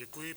Děkuji.